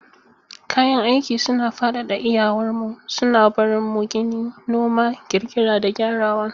Kayan aiki suna fadada iyawar mu, suna barin mu gini, noma, ƙirƙira, da gyarawa.